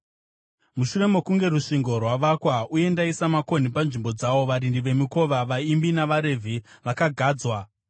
Mushure mokunge rusvingo rwavakwa uye ndaisa makonhi panzvimbo dzawo, varindi vemikova, vaimbi navaRevhi vakagadzwa.